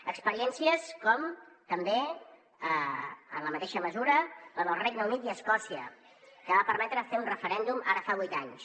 experiències com també en la mateixa mesura la del regne unit i escòcia que va permetre fer un referèndum ara fa vuit anys